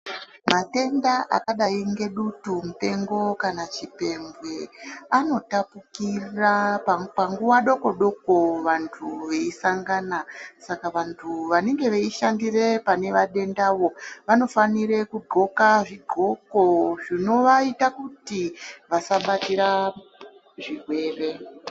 Matenda akadayi ngedutu mpengo kana chipembwe anotapukira panguwa dokodoko kuvantu veyisangana. Saka vantu vanenge veyishandire panemadendawo vanofanire kugxoka zvigxoko zvinovaita kuti vasabatira zvirwere.